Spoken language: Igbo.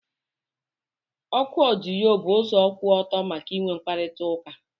Oku odiyo bụ ụzọ kwụ ọtọ maka inwe mkparịta ụka.